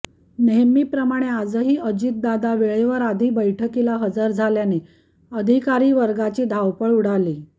नेहमीप्रमाणे आजही अजितदादा वेळेआधी बैठकीला हजर झाल्याने अधिकारी वर्गाची धावपळ उडाली